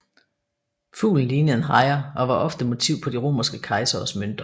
Fuglen lignede en hejre og var ofte motiv på de romerske kejseres mønter